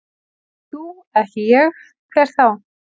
Ekki þú, ekki ég, hver þá?